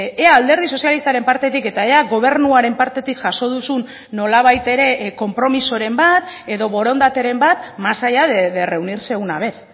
ea alderdi sozialistaren partetik eta ea gobernuaren partetik jaso duzun nolabait ere konpromisoren bat edo borondateren bat más allá de reunirse una vez